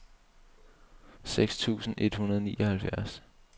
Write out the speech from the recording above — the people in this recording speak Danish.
seks tusind et hundrede og nioghalvfjerds